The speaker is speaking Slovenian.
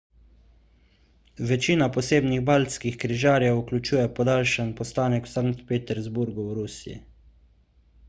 večina posebnih baltskih križarjenj vključuje podaljšan postanek v sankt peterburgu v rusiji